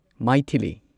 Maithili